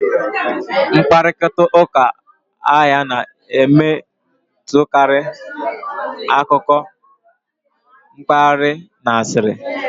Mkparịta ụka ahịa na-emetụtakarị akụkọ mpaghara na asịrị